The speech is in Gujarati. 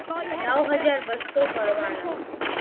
નવ હજાર બસો ભરવાના છે